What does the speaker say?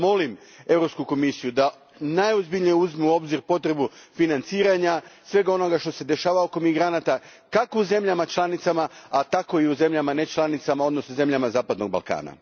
Zato molim Europsku komisiju da najozbiljnije uzme u obzir potrebu financiranja svega onog što se dešava oko migranata, kako u zemljama članicama, tako i u zemljama nečlanicama, odnosno zemljama zapadnog Balkana.